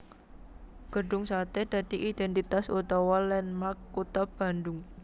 Gedhung Satè dadi idèntitas utawa landmark kutha Bandung